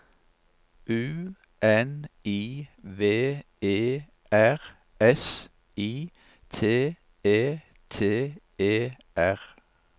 U N I V E R S I T E T E R